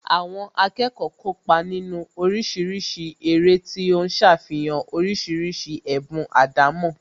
Àwọn akẹ́kọ̀ọ́ kópa nínú oríṣiríṣi eré tí ó ń ṣàfihàn oríṣiríṣi ẹ̀bùn àdámọ́